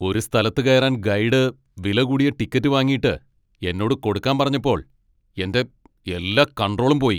ഒരു സ്ഥലത്ത് കയറാൻ ഗൈഡ് വിലകൂടിയ ടിക്കറ്റ് വാങ്ങിയിട്ട് എന്നോട് കൊടുക്കാൻ പറഞ്ഞപ്പോൾ എൻ്റെ എല്ലാ കണ്ട്രോളും പോയി.